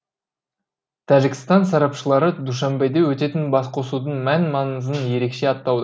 тәжікстан сарапшылары душанбеде өтетін басқосудың мән маңызын ерекше атауда